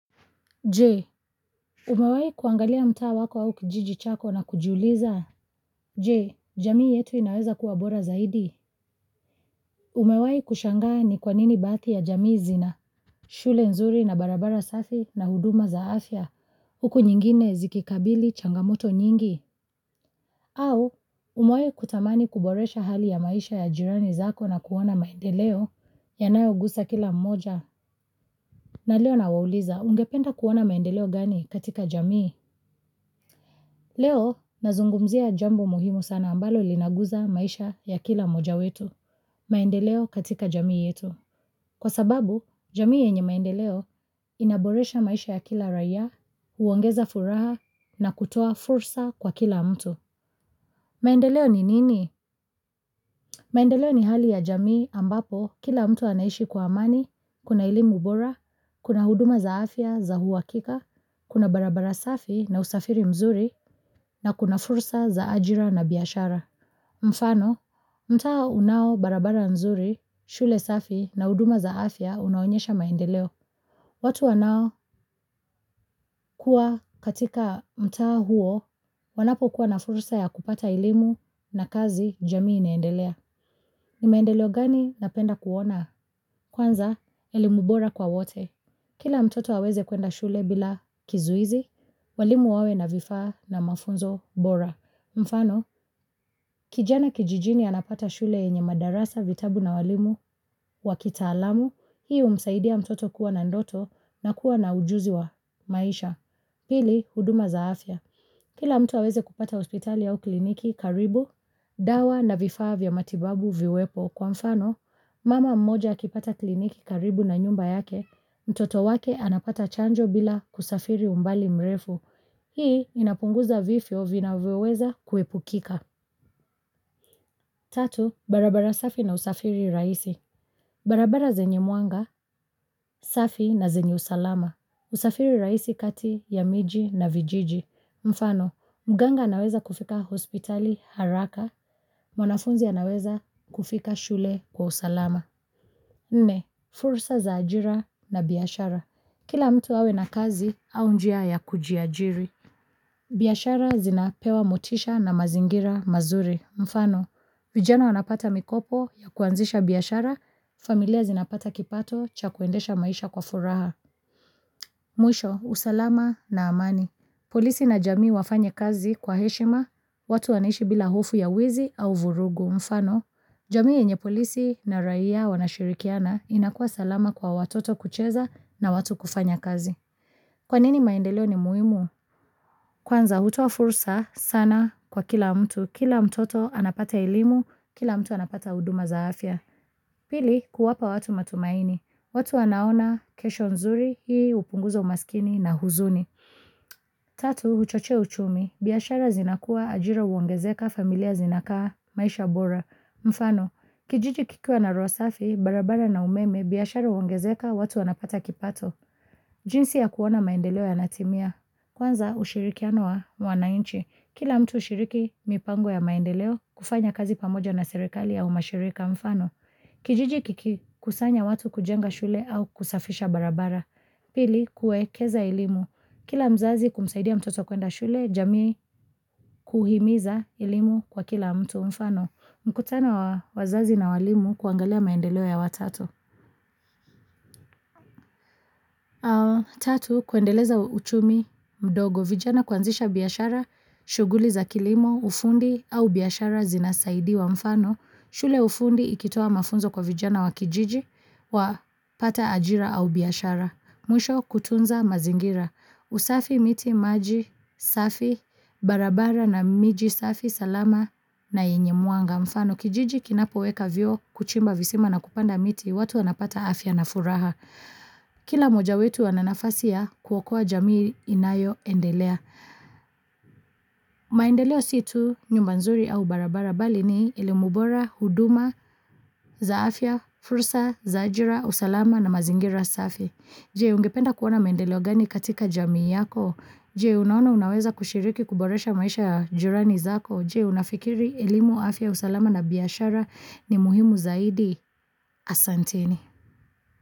Jee, umewahi kuangalia mtaa wako au kijiji chako na kujiuliza? Je, jamii yetu inaweza kuwa bora zaidi? Umewahi kushangaa ni kwa nini baadhi ya jamii zina? Shule nzuri na barabara safi na huduma za afya, huku nyingine zikikabili changamoto nyingi? Au, umewahi kutamani kuboresha hali ya maisha ya jirani zako na kuona maendeleo, yanayogusa kila mmoja? Na leo nawauliza, ungependa kuona maendeleo gani katika jamii? Leo, nazungumzia jambo muhimu sana ambalo linaguza maisha ya kila mmoja wetu, maendeleo katika jamii yetu. Kwa sababu, jamii yenye maendeleo inaboresha maisha ya kila raia, huongeza furaha na kutoa fursa kwa kila mtu. Maendeleo ni nini? Maendeleo ni hali ya jamii ambapo, kila mtu anaishi kwa amani, kuna elimu bora, kuna huduma za afya za uhakika, kuna barabara safi, na usafiri mzuri, na kuna fursa za ajira na biashara. Mfano, mtaa unao barabara nzuri, shule safi na huduma za afya, unaonyesha maendeleo. Watu wanaokuwa katika mtaa huo, wanapokuwa na fursa ya kupata elimu na kazi, jamii inaendelea. Ni maendeleo gani napenda kuona? Kwanza, elimu bora kwa wote. Kila mtoto aweze kuenda shule bila kizuizi, walimu wawe na vifaa, na mafunzo bora. Mfano, kijana kijijini anapata shule yenye madarasa, vitabu na walimu wa kitaalamu, hii humsaidia mtoto kuwa na ndoto, na kuwa na ujuzi wa maisha. Pili, huduma za afya. Kila mtu awezekupata hospitali au kliniki karibu, dawa na vifaa vya matibabu viwepo. Kwa mfano, mama mmoja akipata kliniki karibu na nyumba yake, mtoto wake anapata chanjo bila kusafiri umbali mrefu. Hii, inapunguza vifo vinavyoweza kuepukika. Tatu, barabara safi na usafiri rahisi. Barabara zenye mwanga, safi na zenye usalama. Usafiri rahisi kati ya miji na vijiji. Mfano, mganga anaweza kufika hospitali haraka. Mwanafunzi anaweza kufika shule kwa usalama. Nne, fursa za ajira na biashara. Kila mtu awe na kazi au njia ya kujiajiri. Biashara zinapewa motisha na mazingira mazuri. Mfano, vijana wanapata mikopo ya kuanzisha biashara, familia zinapata kipato cha kuendesha maisha kwa furaha. Mwisho, usalama na amani. Polisi na jamii wafanye kazi kwa heshima, watu wanaishi bila hofu ya wezi au vurugu. Mfano, jamii yenye polisi na raia wanashirikiana inakuwa salama kwa watoto kucheza na watu kufanya kazi. Kwa nini maendeleo ni muhimu? Kwanza hutoa fursa, sana kwa kila mtu. Kila mtoto anapata elimu, kila mtu anapata huduma za afya. Pili, kuwapa watu matumaini. Watu wanaona kesho nzuri, hii hupunguza umaskini na huzuni. Tatu, huchochea uchumi. Biashara zinakuwa ajira huongezeka, familia zinakaa, maisha bora. Mfano, kijiji kikiwa na rosafi, barabara na umeme biashara huongezeka watu wanapata kipato. Jinsi ya kuona maendeleo yana timia. Kwanza ushirikiano wa wananchi. Kila mtu hushiriki mipango ya maendeleo, kufanya kazi pamoja na serekali au mashirika, mfano. Kijiji kiki kusanya watu kujenga shule au kusafisha barabara. Pili, kuekeza elimu. Kila mzazi kumsaidia mtoto kwenda shule, jamii kuhimiza elimu kwa kila mtu, mfano. Mkutano wazazi na walimu kuangalia maendeleo ya watoto. Tatu, kuendeleza uchumi mdogo, vijana kuanzisha biashara, shughuli za kilimo, ufundi au biashara zinasaidiwa, mfano. Shule ya ufundi ikitoa mafunzo kwa vijana wa kijiji wa pata ajira au biashara. Mwisho kutunza mazingira. Usafi, miti, maji, safi, barabara na miji safi, salama na yenye mwanga, mfano. Kijiji kinapoweka vyoo, kuchimba visima, na kupanda miti, watu wanapata afya na furaha. Kila mmoja wetu ana nafasi ya kuokoa jamii inayoendelea. Maendeleo si tu nyumba nzuri au barabara, mbali ni elimu bora, huduma za afya, fursa za ajira, usalama, na mazingira safi. Je, ungependa kuona maendeleo gani katika jamii yako? Je, unaona unaweza kushiriki kuboresha maisha ya jirani zako? Je, unafikiri elimu, afya, usalama na biashara ni muhimu zaidi? Asanteni.